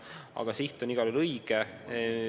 Ent siht on igal juhul õige.